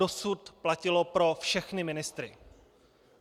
Dosud platilo pro všechny ministry.